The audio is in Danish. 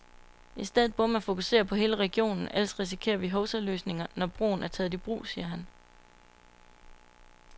I stedet burde man fokusere på hele regionen, ellers risikerer vi hovsaløsninger, når broen er taget i brug, siger han.